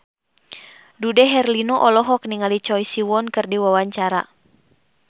Dude Herlino olohok ningali Choi Siwon keur diwawancara